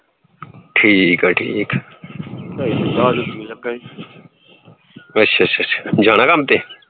ਠੀਕ ਆ ਠੀਕ ਆ ਅੱਛਾ ਅੱਛਾ ਅੱਛਾ ਜਾਣਾ ਕੰਮ ਤੇ